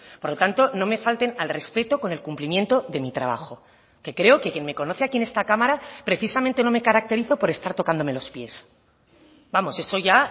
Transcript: por lo tanto no me falten al respeto con el cumplimiento de mi trabajo que creo que quien me conoce aquí en esta cámara precisamente no me caracterizo por estar tocándome los pies vamos eso ya